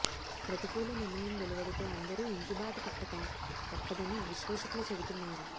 ప్రతికూల నిర్ణయం వెలువడితే అందరూ ఇంటి బాట పట్టక తప్పదని విశ్లేషకులు చెబుతున్నారు